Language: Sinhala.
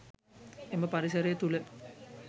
එම පරිසරය තුළ